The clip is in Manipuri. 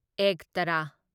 ꯑꯦꯛꯇꯥꯔꯥ